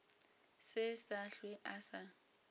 se sa hlwe a sa